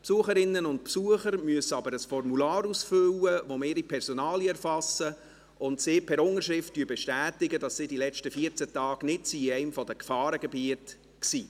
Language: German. Besucherinnen und Besucher müssen jedoch ein Formular ausfüllen, mit dem wir ihre Personalien erfassen, und per Unterschrift bestätigen, dass sie in den vergangenen 14 Tagen nicht in einem der Gefahrengebiete waren.